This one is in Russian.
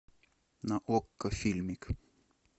на окко фильмик